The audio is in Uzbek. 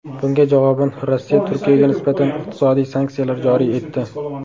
Bunga javoban, Rossiya Turkiyaga nisbatan iqtisodiy sanksiyalar joriy etdi.